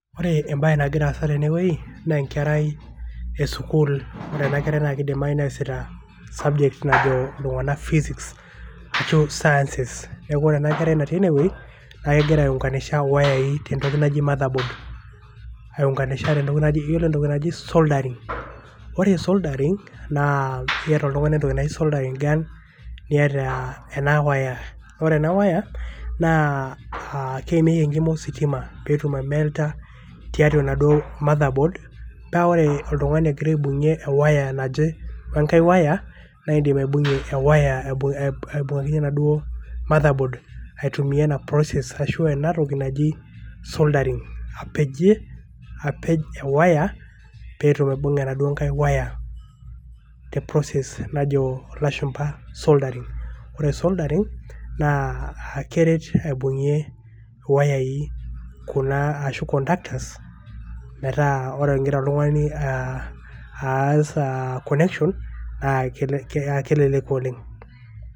Ore ebae nagira aasa tenewei, naa enkerai esukuul. Ore enakerai na kidimayu neesita subject najo iltung'anak physics ,ashu sciences. Neeku ore enakerai natii enewei, na kegira aiunkanisha wayai tentoki naji motherboard ,aiunkanisha yiolo entoki naji soldering. Ore soldering ,naa keeta oltung'ani entoki naji soldering gun ,niata ena waya. Ore ena waya, naa keimieki enkima ositima petum aimelta tiatua enaduo motherboard ,pa ore oltung'ani ogira aibung'ie ewaya naje wenkae waya, naidim aibung'ie ewaya pokin enaduo motherboard, aitumia ena process ashu enatoki naji soldering ,apejie apej ewaya piteru aibung' enaduo nkae waya te process najo ilashumpa soldering. Ore soldering ,naa keret aibung'ie iwayai kuna ashu conductors ,metaa ore igira oltung'ani ah, aas ah connection ,na kelo keya keleleku oleng'.